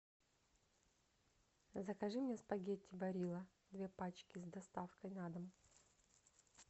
закажи мне спагетти барилла две пачки с доставкой на дом